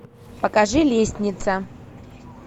покажи лестница